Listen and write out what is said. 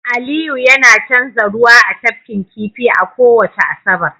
aliyu yana canza ruwa a tafkin kifi a kowace Asabar